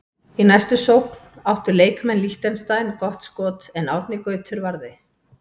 Í næstu sókn áttu leikmenn Liechtenstein gott skoti en Árni Gautur varði.